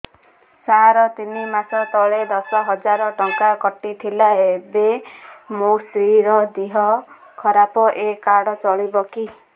ସାର ତିନି ମାସ ତଳେ ଦଶ ହଜାର ଟଙ୍କା କଟି ଥିଲା ଏବେ ମୋ ସ୍ତ୍ରୀ ର ଦିହ ଖରାପ ଏ କାର୍ଡ ଚଳିବକି